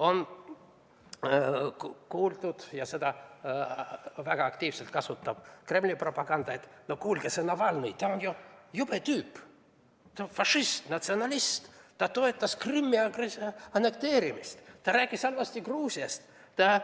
On kuuldud, ja seda kasutab väga aktiivselt Kremli propaganda, et no kuulge, see Navalnõi on ju jube tüüp, fašist, natsionalist, ta toetas Krimmi annekteerimist, ta rääkis halvasti Gruusiast, ta